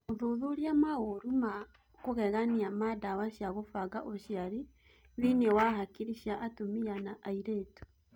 Ũthuthuria maũru ma kũgegania ma ndawa cia gũbanga ũciari thĩnĩ wa hakiri cia atumia na airĩtu